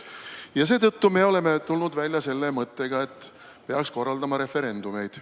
Ja seetõttu me oleme tulnud välja mõttega, et peaks korraldama referendumeid.